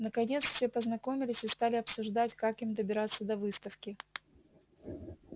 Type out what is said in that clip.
наконец все познакомились и стали обсуждать как им добираться до выставки